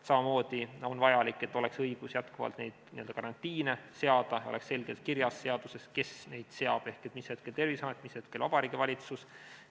Samamoodi on vajalik, et oleks õigus jätkuvalt karantiine seada, et oleks selgelt kirjas seaduses, kes neid seab, mis hetkel on see Terviseamet, mis hetkel Vabariigi Valitsus.